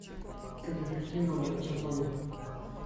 как эффективно накачать ноги